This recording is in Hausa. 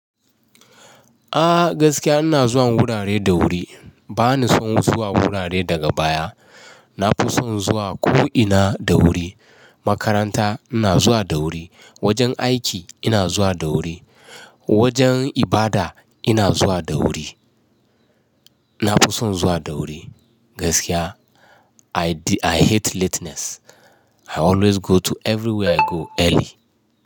A gaskiya ina zuwan wurare da wuri. Ba ni son zuwa wurare daga baya. Na fi son zuwa ko ina da wuri. Makaranta ina zuwa da wuri, wajen aiki ina zuwa da wuri, wajen ibada ina zuwa da wuri. Na fi son zuwa da wuri. Gaskiya I hate lateness. I always go to everywhere I go early.